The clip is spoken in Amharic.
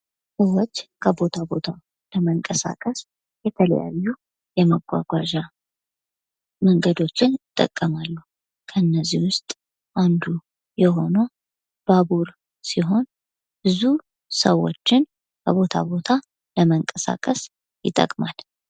ብዙዎች ከቦታ ቦታ ለመንቀሳቀስ የተለያዩ የማጓጓዣ መንገዶችን ይጠቀማሉ። ከእነዚህ ውስጥ አንዱ የሆነው ባቡር ሲሆን፤ ብዙ ሰዎችን ከቦታ ቦታ ለመንቀሳቀስ ይጠቅማል።